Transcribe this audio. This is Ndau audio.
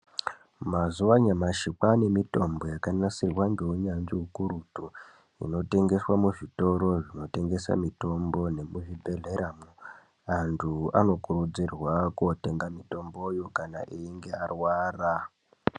Mazuwa anyamashi kwaanemitombo yakanasirwa neunyanzvi hukurutu inotengeswe muzvitoro zvinotengese mitombo yemuzvibhedhlera. Antu anokurudzirwa kundotenga mitombo iyi kana einge arwara.